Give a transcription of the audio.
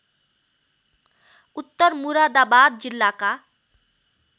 उत्तर मुरादाबाद जिल्लाका